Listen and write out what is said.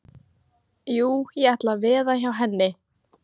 Jú, ég ætla að veða hjá henni.